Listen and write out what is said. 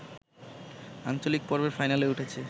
আঞ্চলিক পর্বের ফাইনালে উঠেছে